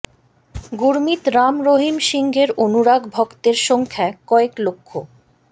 গুরমিত রাম রহিম সিংয়ের অনুরাগ ভক্তের সংখ্যা কয়েক লক্ষ